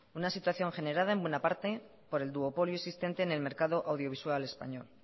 una situación generada en buena parte por el duopolio existente en el mercado audiovisual español